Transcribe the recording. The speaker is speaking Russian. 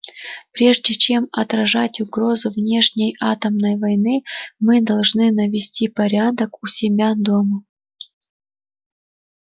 прежде чем отражать угрозу внешней атомной войны мы должны навести порядок у себя дома